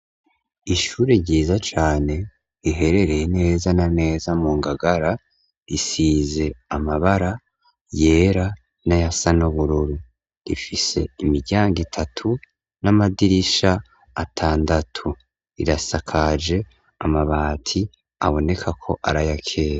Murmonge mugisagara agati ishuri vyitiriwe umwelandaporo ryubakishije neza rifise amabara asa n'agahama ayera rigeretse kabiri, ariko nibiyo ama modoka atwara abanyeshuri, ariko arahagarara atwara e abana kw'ishuri.